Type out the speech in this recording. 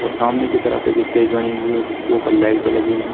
और सामने की तरफ एक स्टेज बनी हुई है जिसके के ऊपर लाइटें लगी हुई है।